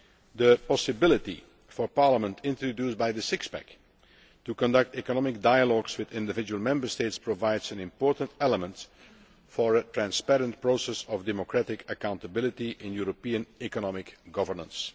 The possibility for Parliament, introduced by the Six Pack, to conduct economic dialogues with individual Member States provides an important element for a transparent process of democratic accountability in European economic governance.